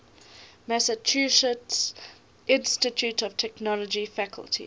massachusetts institute of technology faculty